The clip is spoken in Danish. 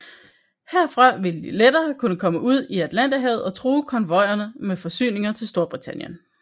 Herfra ville de lettere kunne komme ud i Atlanterhavet og true konvojerne med forsyninger til Storbritannien